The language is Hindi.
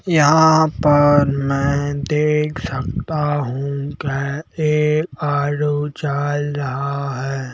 यहां पर मैं देख सकता हूं कि ये आलू चाल रहा है।